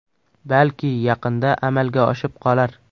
Balki yaqinda amalga oshib qolar.